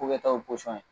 K'o kɛ taw posɔn ye